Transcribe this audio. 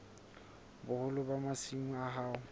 boholo ba masimo a hao